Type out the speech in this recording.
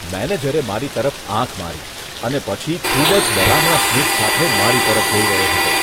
મેનેજરે મારી તરફ આંખ મારી અને પછી ખૂબ જ ડરામણા સ્મિત સાથે મારી તરફ જોઈ રહ્યો હતો.